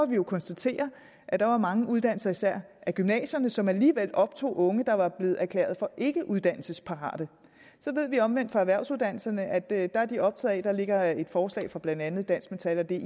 vi jo konstatere at der var mange uddannelser især gymnasierne som alligevel optog unge der var blevet erklæret for ikkeuddannelsesparate så ved vi omvendt fra erhvervsuddannelserne at der er de optaget af at der ligger et forslag fra blandt andet dansk metal og di